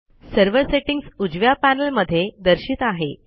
server settings उजव्या panel मध्ये दर्शित आहे